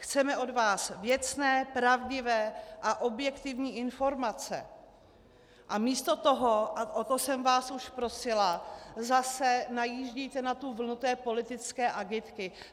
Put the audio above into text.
Chceme od vás věcné, pravdivé a objektivní informace, a místo toho, a o to jsem vás už prosila, zase najíždíte na vlnu té politické agitky.